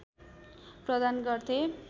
प्रदान गर्थे